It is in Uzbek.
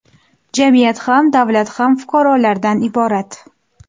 Jamiyat ham, davlat ham fuqarolardan iborat.